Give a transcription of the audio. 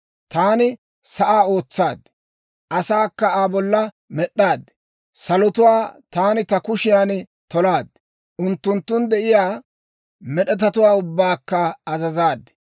Taani sa'aa ootsaad; asaakka Aa bolla med'd'aad. Salotuwaa taani ta kushiyan tolaad; unttunttun de'iyaa med'etatuwaa ubbaakka azazaad.